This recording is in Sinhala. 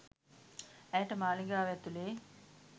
ඇයට මාලිගාව ඇතුළේ